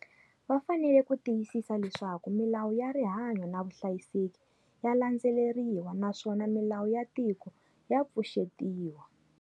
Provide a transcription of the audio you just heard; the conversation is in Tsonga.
Va fanele ku tiyisisa leswaku milawu ya rihanyo na vuhlayiseki ya landzeleriwa naswona milawu ya tiko ya pfuxetiwa.